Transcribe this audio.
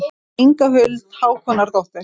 Inga Huld Hákonardóttir.